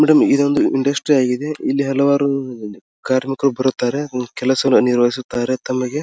madam ಇದೊಂದು industry ಆಗಿದೆ ಇಲ್ಲಿ ಹಲವಾರು ಕಾರ್ಮಿಕರು ಬರುತ್ತಾರೆ ಕೆಲಸವನ್ನು ನಿರ್ವಹಿಸುತ್ತಾರೆ ತಮಗೆ --